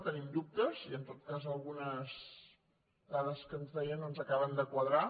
tenim dubtes i en tot cas algunes dades que ens deia no ens acaben de quadrar